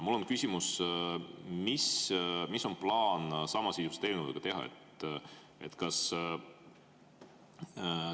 Mul on küsimus: mis on plaan samasisuliste eelnõudega teha?